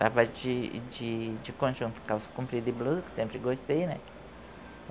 Tava de, de conjunto, calça comprida e blusa, que sempre gostei, né?